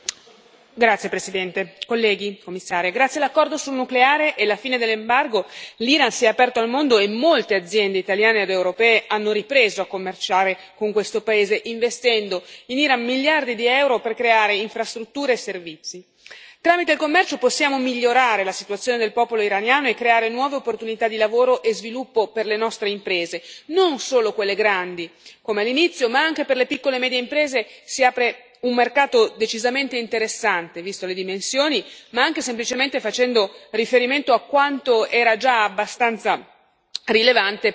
Signor Presidente, onorevoli colleghi, signora Commissario, grazie all'accordo sul nucleare e alla fine dell'embargo, l'Iran si è aperto al mondo e molte aziende italiane ed europee hanno ripreso a commerciare con questo paese, investendo in Iran miliardi di euro per creare infrastrutture e servizi. Tramite il commercio possiamo migliorare la situazione del popolo iraniano e creare nuove opportunità di lavoro e sviluppo per le nostre imprese, non solo quelle grandi come all'inizio, ma anche per le piccole e medie imprese si apre un mercato decisamente interessante visto le dimensioni ma anche semplicemente facendo riferimento a quanto era già abbastanza